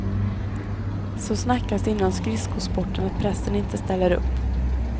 Så snackas det inom skridskosporten att pressen inte ställer upp.